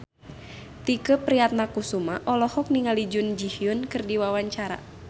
Tike Priatnakusuma olohok ningali Jun Ji Hyun keur diwawancara